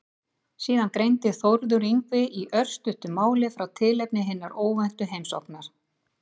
Síðan greindi Þórður Yngvi í örstuttu máli frá tilefni hinnar óvæntu heimsóknar.